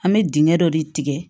An bɛ dingɛ dɔ de tigɛ